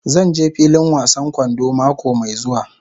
Zan je filin wasan kwando mako mai zuwa.